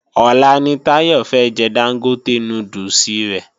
Ọ̀la ni Táyọ̀ fẹ́ jẹ Dángótè núdùsì rẹ̀